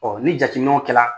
Ɔ ni jateminɛw kɛra